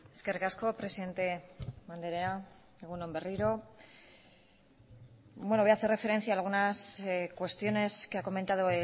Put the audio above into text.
eskerrik asko presidente andrea egun on berriro bueno voy a hacer referencia a algunas cuestiones que ha comentado